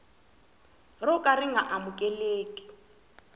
ro ka ri nga amukeleki